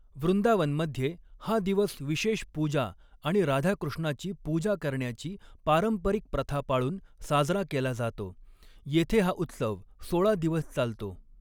वृंदावनमध्ये हा दिवस विशेष पूजा आणि राधा कृष्णाची पूजा करण्याची पारंपरिक प्रथा पाळून साजरा केला जातो, येथे हा उत्सव सोळा दिवस चालतो.